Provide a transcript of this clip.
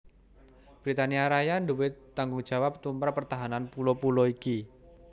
Britania Raya nduwé tanggungjawab tumrap pertahanan pulo pulo iki